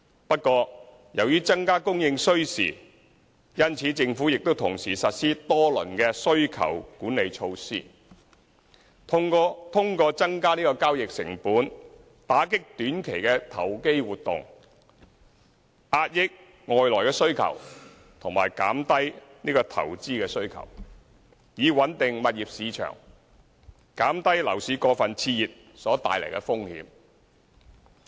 不過，由於增加供應需時，因此政府亦同時實施多輪需求管理措施，通過增加交易成本，打擊短期投機活動、遏抑外來需求和減低投資需求，以穩定物業市場，減低樓市過分熾熱所帶來的風險。